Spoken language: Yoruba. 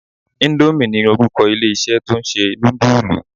Indomie ni orúkọ ilé-isé tó ń ṣe nudulu.